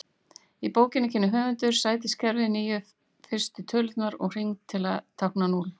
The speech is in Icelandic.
Í bókinni kynnir höfundur sætiskerfið, níu fyrstu tölurnar og hring til að tákna núll.